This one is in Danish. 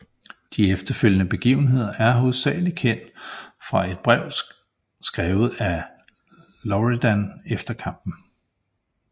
De efterfølgende begivenheder er hovedsagelig kendt fra et brev skrevet af Loredan efter kampen